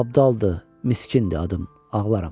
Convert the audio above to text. Abdaldı, miskindi adım, ağlaram.